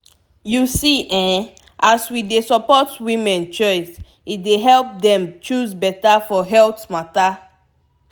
you see eh as we dey support women choice e dey help dem choose beta for health matter